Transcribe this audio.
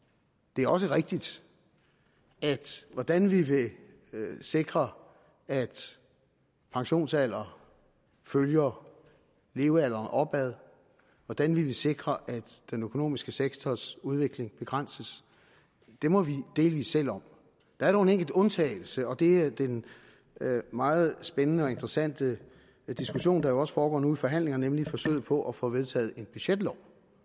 det er også rigtigt at hvordan vi vil sikre at pensionsalderen følger levealderen opad og hvordan vi vil sikre at den økonomiske sektors udvikling begrænses må vi delvis selv om der er dog en enkelt undtagelse og det er den meget spændende og interessante diskussion der jo også foregår nu i forhandlingerne nemlig forsøget på at få vedtaget en budgetlov